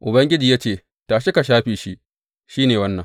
Ubangiji ya ce, Tashi ka shafe shi, shi ne wannan.